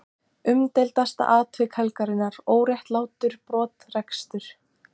Umdeildasta atvik helgarinnar: Óréttlátur brottrekstur?